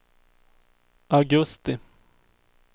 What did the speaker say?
augusti